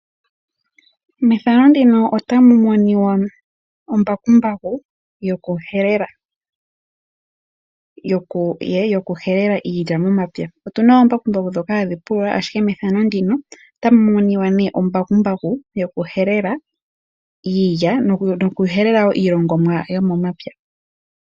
Methano ndino otamu monika ombakumbaku yokuhelela iilya momapya. Okuna omambakumbaku gokupulula ashike mefano ndino otamu monika embakumbaku lyoku helela iilya osho wo iilongomwa yilwe yomomapya.